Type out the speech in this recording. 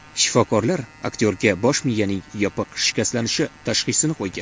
Shifokorlar aktyorga bosh miyaning yopiq shikastlanishi tashxisini qo‘ygan.